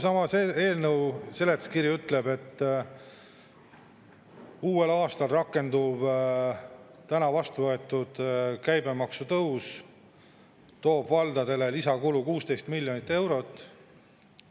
Samas, eelnõu seletuskiri ütleb, et uuel aastal rakenduv täna vastu võetud käibemaksu tõus toob valdadele lisakulu 16 miljonit eurot.